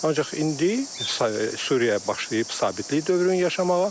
Ancaq indi Suriya başlayıb sabitlik dövrünü yaşamağa.